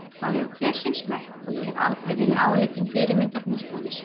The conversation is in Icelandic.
Það hefur hver sinn smekk og ég hef aldrei verið álitin fyrirmyndar húsmóðir.